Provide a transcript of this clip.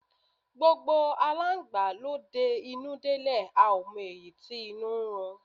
Gbogbo Aláǹgbá ló de inú dé lè a ò mọ èyí tí inú ń run.